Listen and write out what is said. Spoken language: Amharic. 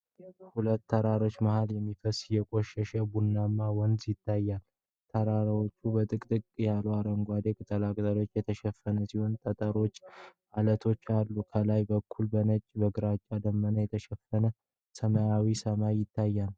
ከሁለት ተራሮች መሃል የሚፈስስ የቆሸሸ ቡናማ ወንዝ ይታያል። ተራራዎቹ በጥቅጥቅ ያሉ አረንጓዴ ቁጥቋጦዎች የተሸፈኑ ሲሆን፣ ጠጠሮችና ዐለቶችም አሉ። ከላይ በኩል በነጭና በግራጫ ደመናዎች የተሸፈነ ሰማያዊ ሰማይ ይታያል።